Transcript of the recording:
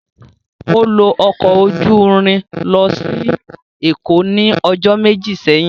O lo ọkọ oju irin losi Eko ni ọjọ meji seyin.